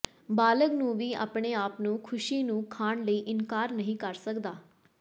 ਬਾਲਗ ਨੂੰ ਵੀ ਆਪਣੇ ਆਪ ਨੂੰ ਖੁਸ਼ੀ ਨੂੰ ਖਾਣ ਲਈ ਇਨਕਾਰ ਨਹੀ ਕਰ ਸਕਦਾ ਹੈ